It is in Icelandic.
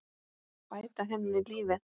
Bæta henni lífið.